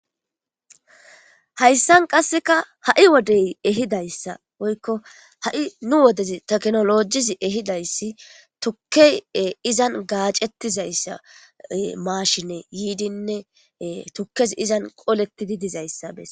hayssan qasseka ha7i wodey ehidayssa woykko ha7i nu wodezi teknolojizi ehidayssi tukkey izan gaacettizayssa maashine yiidinne tukkez izan qolettidi dizayssa bes